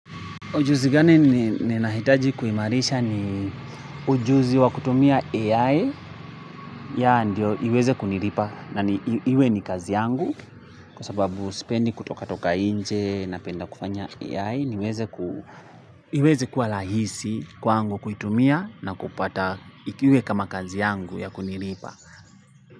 Ujuzi gani ninahitaji kuimarisha ni ujuzi wa kutumia AI ya ndio iweze kuniripa na iwe ni kazi yangu kwa sababu spendi kutoka toka inche na penda kufanya AI niweze kuwa lahisi kwa angu kuitumia na kupata ikiwe kama kazi yangu ya kuniripa.